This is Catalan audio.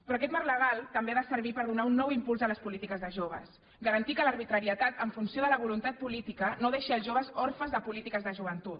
però aquest marc legal també ha de servir per donar un nou impuls a les polítiques de joves garantir que l’arbitrarietat en funció de la voluntat política no deixi els joves orfes de polítiques de joventut